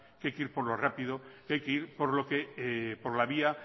que hay que ir por lo rápido que hay que ir por la vía